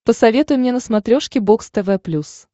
посоветуй мне на смотрешке бокс тв плюс